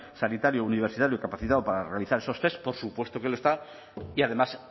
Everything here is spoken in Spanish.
sanitario universitario capacitado para realizar esos test por supuesto que lo está y además